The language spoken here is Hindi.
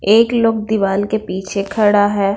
एक लोंग दिवाल के पीछे खड़ा है।